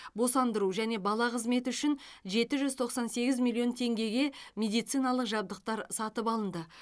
босандыру және бала қызметі үшін жеті жүз тоқсан сегіз миллион теңгеге медициналық жабдықтар сатып алынды